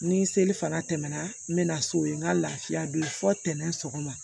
Ni seli fana tɛmɛna n bɛ na so yen n ka lafiya don fɔ tɛnɛn sɔgɔma